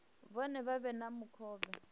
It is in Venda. vhone vha vhe na mukovhe